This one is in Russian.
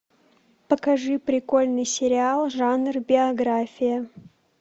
покажи прикольный сериал жанр биография